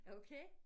Okay